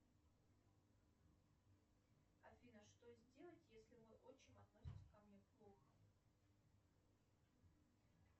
афина что сделать если мой отчим относится ко мне плохо